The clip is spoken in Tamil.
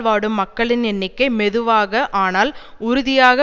வாடும் மக்களின் எண்ணிக்கை மெதுவாக ஆனால் உறுதியாக